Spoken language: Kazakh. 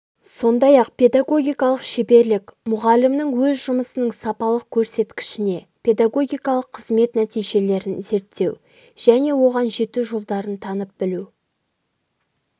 сондай-ақ педагогикалық шеберлік мұғалімнің өз жұмысының сапалық көрсеткішіне педагогикалық қызмет нәтижелерін зерттеу және оған жету жолдарын танып білу